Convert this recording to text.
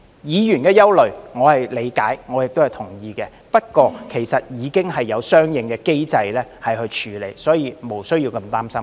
議員的憂慮，我是理解亦同意的，不過，其實已經有相應的機制處理，所以無須那麼擔心。